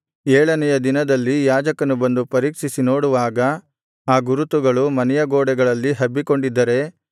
ಏಳನೆಯ ದಿನದಲ್ಲಿ ಯಾಜಕನು ಬಂದು ಪರೀಕ್ಷಿಸಿ ನೋಡುವಾಗ ಆ ಗುರುತು ಮನೆಯ ಗೋಡೆಗಳಲ್ಲಿ ಹಬ್ಬಿಕೊಂಡಿದ್ದರೆ